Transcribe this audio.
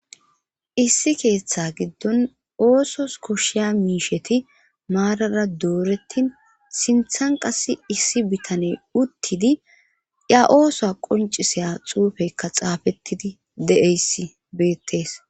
issi keeththa giddon oosos koshiya miisheti maarara doorettin sinthan qas issi bitaney uttidi iya ooso qoncisaya xuufeykka xaafettidi de7eyssi beettees